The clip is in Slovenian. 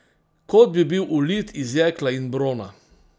Kot bi bil ulit iz jekla in brona!